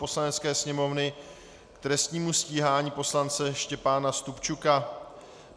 Poslanecké sněmovny k trestnímu stíhání poslance Štěpána Stupčuka